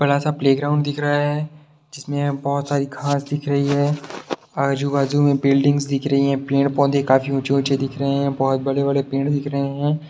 बड़ा-सा प्लेग्राउन्ड दिख रहा है जिसमें बहोत सारी घास दिख रही है आजू-बाजू में बिल्डिंग्स दिख रही हैं पेड़ पौधे काफी ऊंचे ऊंचे दिख रहे हैं बहोत बड़े-बड़े पेड़ दिख रहे हैं।